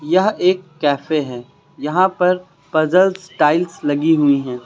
यह एक कैफे हैं। यहां पर पजल्स टाइल्स लगी हुई हैं।